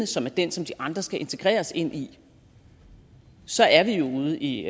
som er den som de andre kulturer skal integreres i så er vi jo ude i